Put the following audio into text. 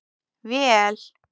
Vel